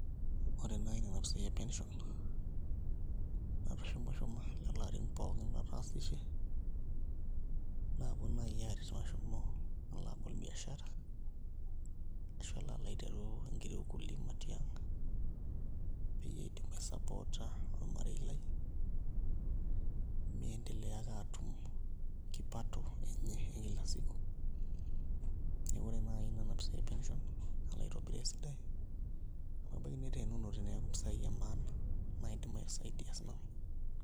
Ore naa nena pisaai e pension natushumushuma lelo arin pookin lataasishe naapuo naai aaret mashomo alo abol biashara ashu alo aiteru enkiti ukulima tiang' peyie aidim aisupport ormarei lai miendelea ake aatum kipato enye e kila siku, neeku ore naai nena pisaai e pension nalo aitobiraa esidai amu ebaiki neteenunote neeku mpisaai emaana naidim aisaidia sinanu.